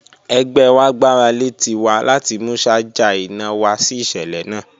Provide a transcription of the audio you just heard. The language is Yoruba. Ẹgbẹ wa gbarale Tiwa lati mu ṣaja ina wa si iṣẹlẹ naa